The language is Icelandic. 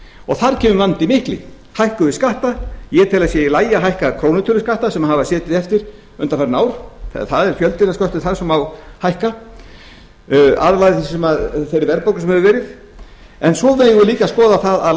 og þar kemur vandinn mikli hækkum við skatta ég tel að það sé í lagi að hækka krónutölu skatta sem hafa setið eftir undanfarin ár það er fjöldinn af sköttum þar sem má hækka afleiðing af þeirri verðbólgu sem hefur verið svo megum við líka skoða að